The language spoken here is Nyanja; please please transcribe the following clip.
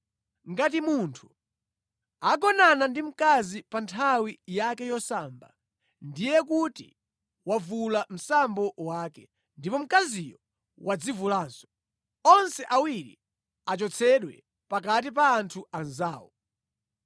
“ ‘Ngati munthu agonana ndi mkazi pa nthawi yake yosamba, ndiye kuti wavula msambo wake, ndipo mkaziyo wadzivulanso. Onse awiri achotsedwe pakati pa anthu anzawo.